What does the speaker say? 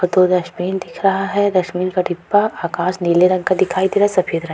और दो डस्टबिन दिख रहा है डस्टबिन का डिब्बा आकाश नीले रंग का दिखाई दे रहा है सफ़ेद रंग --